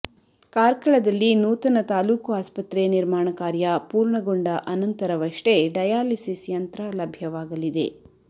ಕಾರ್ಕಳದಲ್ಲಿ ನೂತನ ತಾಲೂಕು ಆಸ್ಪತ್ರೆ ನಿರ್ಮಾಣ ಕಾರ್ಯ ಪೂರ್ಣಗೊಂಡ ಅನಂತರವಷ್ಟೇ ಡಯಾಲಿಸಿಸ್ ಯಂತ್ರ ಲಭ್ಯವಾಗಲಿದೆ